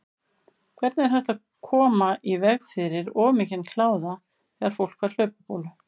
Hvernig er hægt að koma í veg fyrir of mikinn kláða þegar fólk fær hlaupabólu?